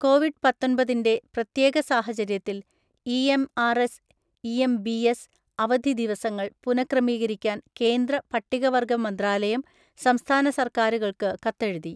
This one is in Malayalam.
കോവിഡ് പത്തൊൻപതിന്റെ പ്രത്യേക സാഹചര്യത്തിൽ E. M. R. S, E. M. B. S അവധി ദിവസങ്ങൾ പുനഃക്രമീകരിക്കാൻ കേന്ദ്ര പട്ടികവർഗ മന്ത്രാലയം സംസ്ഥാന സർക്കാരുകൾക്ക് കത്തെഴുതി.